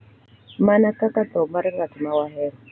Mana kaka tho mar ng’at ma wahero, .